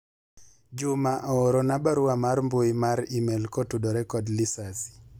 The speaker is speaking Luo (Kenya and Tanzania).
juma oorona barua mar mbui mar email kotudore kod lisasi